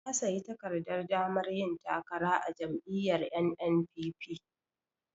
Ya sayi takardar damar yin takara a jam'iyyar NNPP.